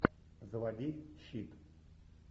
заводи щит